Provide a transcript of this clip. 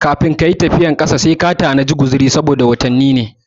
Kafin kayi tafiyan kafa sai ka tanadi guziri saboda tafiyan watanni ne